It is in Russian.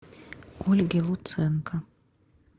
ольги луценко